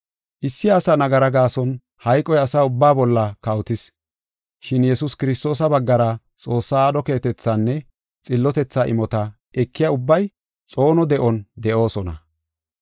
Issi asa nagara gaason hayqoy asa ubbaa bolla kawotis. Shin Yesuus Kiristoosa baggara Xoossaa aadho keehatethaanne xillotetha imota ekiya ubbay, xoono de7on de7oosona.